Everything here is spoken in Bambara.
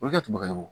O bɛ kɛ tubabu